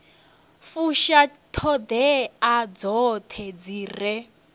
fusha ṱhoḓea dzoṱhe dzi re